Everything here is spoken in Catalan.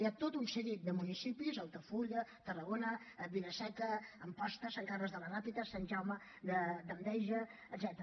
hi ha tot un seguit de municipis altafulla tarragona vila seca amposta sant carles de la ràpita sant jaume d’enveja etcètera